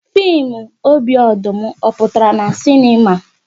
Fim "Obi Ọdụm", ọ pụtara na sinema?